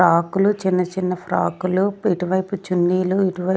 ఫ్రాకులు చిన్న చిన్న ఫ్రాకులు ఇటువైపు చున్నీలు ఇటువై--